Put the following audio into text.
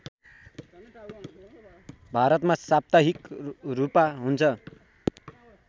भारतमा साप्ताहिक रूपा हुन्छ